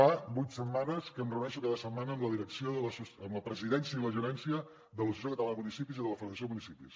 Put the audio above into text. fa vuit setmanes que em reuneixo cada setmana amb la presidència i la gerència de l’associació catalana de municipis i de la federació de municipis